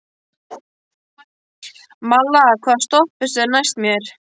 Malla, hvaða stoppistöð er næst mér?